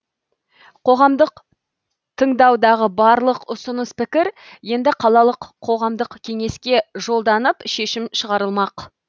қоғамдық тыңдаудағы барлық ұсыныс пікір енді қалалық қоғамдық кеңеске жолданып шешім шығарылмақ